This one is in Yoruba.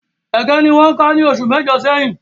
Ége ni wọ́n ká ní oṣù mẹ́jọ̀ sẹ́yìn